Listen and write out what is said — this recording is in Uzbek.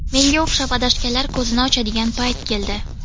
Menga o‘xshab adashganlar ko‘zini ochadigan payt keldi.